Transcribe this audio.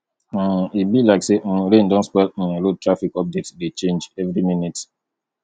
um e be like say um rain don spoil um road traffic update dey change every minute